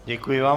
Děkuji vám.